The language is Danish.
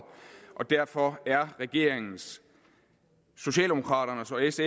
derfor er regeringens socialdemokraternes